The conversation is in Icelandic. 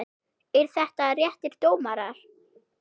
Eru þetta réttir dómar?